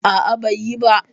A'a, bai yi ba.